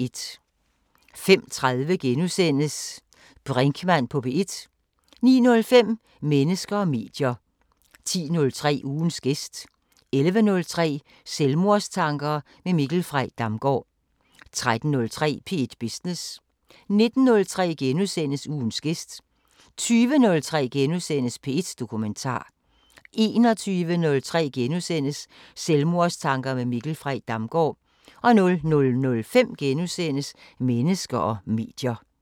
05:30: Brinkmann på P1 * 09:05: Mennesker og medier 10:03: Ugens gæst 11:03: Selvmordstanker med Mikkel Frey Damgaard 13:03: P1 Business 19:03: Ugens gæst * 20:03: P1 Dokumentar * 21:03: Selvmordstanker med Mikkel Frey Damgaard * 00:05: Mennesker og medier *